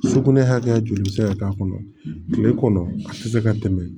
Sugunɛ hakɛ joli bɛ se ka k'a kɔnɔ tile kɔnɔ a tɛ se ka tɛmɛ